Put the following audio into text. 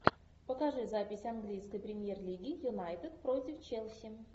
покажи запись английской премьер лиги юнайтед против челси